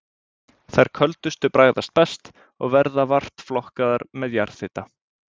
Þær köldustu bragðast best, og verða vart flokkaðar með jarðhita.